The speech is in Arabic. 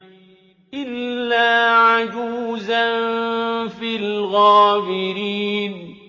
إِلَّا عَجُوزًا فِي الْغَابِرِينَ